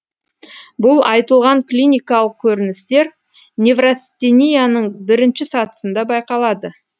бұл айтылған клиникалық көріністер неврастенияның бірінші сатысында байқалады